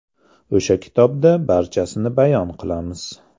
O‘sha kitobda barchasini bayon qilamiz.